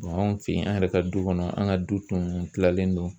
Mɛ anw fe yen an yɛrɛ ka du kɔnɔ an ga du tun tilalen don